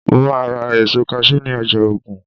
mo ma ra èso cashew ni ọjà ogun